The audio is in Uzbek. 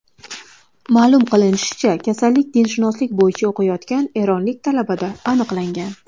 Ma’lum qilinishicha, kasallik dinshunoslik bo‘yicha o‘qiyotgan eronlik talabada aniqlangan .